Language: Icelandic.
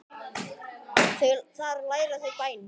Þar læra þau bænir.